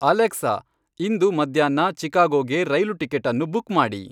Alexa ಇಂದು ಮಧ್ಯಾಹ್ನ ಚಿಕಾಗೋಗೆ ರೈಲು ಟಿಕೆಟ್ ಅನ್ನು ಬುಕ್ ಮಾಡಿ